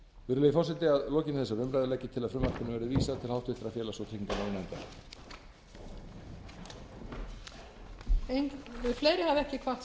virðulegi forseti að lokinni þessari umræðu legg ég til að frumvarpinu verði vísað háttvirtur félags og tryggingamálanefndar